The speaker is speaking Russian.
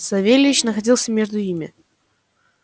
савельич находился между ими